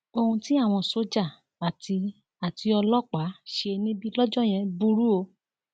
ohun tí àwọn sójà àti àti ọlọpàá ṣe níbí lọjọ yẹn burú o